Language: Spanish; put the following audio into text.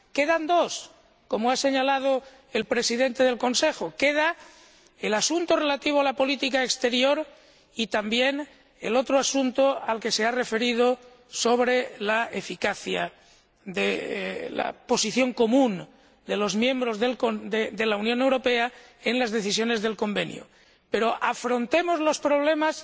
Quedan dos, como ha señalado el Presidente del Consejo el asunto relativo a la política exterior y también el otro asunto al que se ha referido sobre la eficacia de la posición común de los miembros de la Unión Europea en las decisiones del convenio. Pero afrontemos los problemas